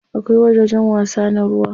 Akwai wajajen wasa na ruwa.